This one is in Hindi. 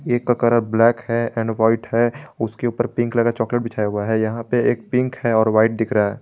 केक का कलर ब्लैक है एंड व्हाइट है उसके ऊपर पिंक वाला चॉकलेट बिछाया हुआ है यहां पे एक पिंक है और व्हाइट दिख रहा है।